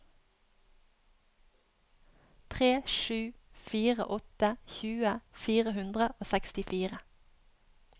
tre sju fire åtte tjue fire hundre og sekstifire